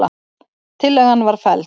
Tillagan var felld